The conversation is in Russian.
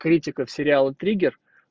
критика в сериалы триггер